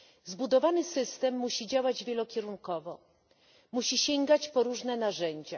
Zbudowany system musi działać wielokierunkowo, musi sięgać po różne narzędzia.